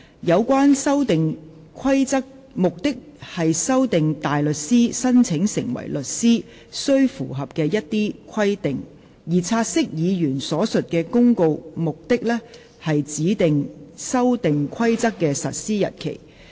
有關《修訂規則》旨在修訂大律師申請成為律師須符合的一些規定，而"察悉議案"所述的《公告》，目的是指定《修訂規則》的實施日期。